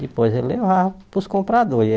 Depois ele levava para os compradores e aí.